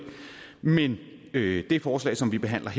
men det her forslag som behandles